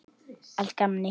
Allt í gamni.